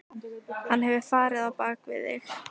Hann hefur farið á bak við þig.